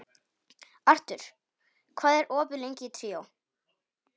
Arthur, hvað er opið lengi í Tríó?